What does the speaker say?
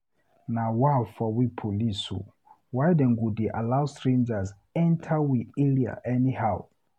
Na wa for we police o, why dem go dey allow strangers enta we area anyhow?